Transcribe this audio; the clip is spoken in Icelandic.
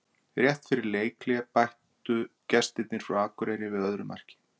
Rétt fyrir leikhlé bættu gestirnir frá Akureyri við öðru marki.